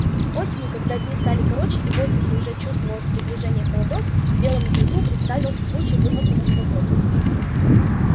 осенью когда дни стали короче и в воздухе уже чувствовалось приближение холодов белому клыку представился случай вырваться на свободу